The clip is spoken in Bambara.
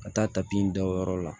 Ka taa tapi da o yɔrɔ la